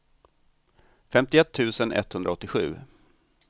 femtioett tusen etthundraåttiosju